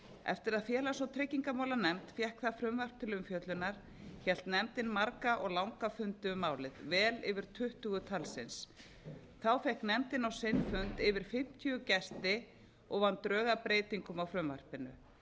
eftir að félags og tryggingamálanefnd fékk það frumvarp til umfjöllunar hélt nefndin marga og langa fundi um málið vel yfir tuttugu talsins fékk nefndin á sinn fund yfir fimmtíu gesti og vann drög að breytingum á frumvarpinu